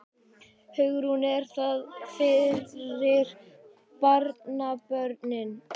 Hugrún: Er það fyrir barnabörnin?